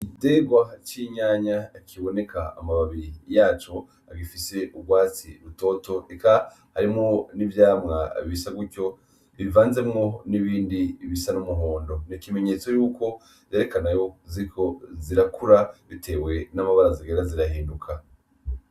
Igiterwac'itomate kiboneka amababi yaco gifise :gisa n'urwatsi rutoto eka harimwo n'ivyamwa bisa nkuko bivanzemwo n'ibindi bisa n'umuhondo, n'ikimenyetso cerekana ko ziriko zirakura bitewe n'amabara zigenda zirahindura.